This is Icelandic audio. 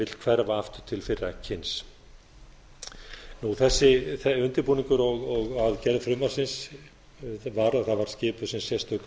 vill hverfa aftur til fyrra kyns undirbúningur að gerð frumvarpsins var að skipuð var sérstök nefnd um þetta